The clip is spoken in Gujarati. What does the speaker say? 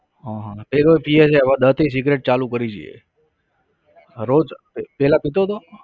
હા હા એ પીવે છે હવે દત્ત એ સિગરેટ ચાલુ કરી છે. રોજ પહેલા પીતો હતો?